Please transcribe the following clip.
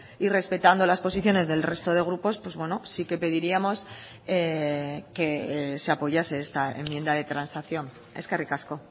y respetando las posiciones del resto de grupos pues bueno sí que pediríamos que se apoyase esta enmienda de transacción eskerrik asko